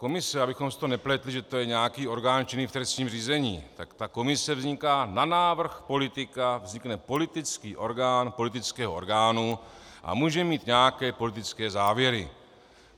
Komise, abychom si to nepletli, že to je nějaký orgán činný v trestním řízení, tak ta komise vzniká na návrh politika, vznikne politický orgán politického orgánu a může mít nějaké politické závěry.